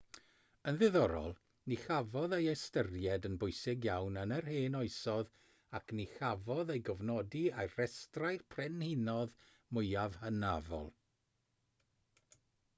yn ddiddorol ni chafodd ei ystyried yn bwysig iawn yn yr hen oesoedd ac ni chafodd ei gofnodi ar restrau'r brenhinoedd mwyaf hynafol